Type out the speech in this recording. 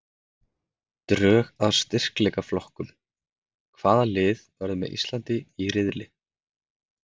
Drög að styrkleikaflokkum- Hvaða lið verða með Íslandi í riðli?